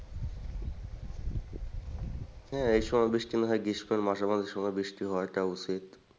হ্যাঁ, এসময় বৃষ্টি না হয়ে গ্রীষ্মকাল মাসে বৃষ্টি হওয়াটা উচিত।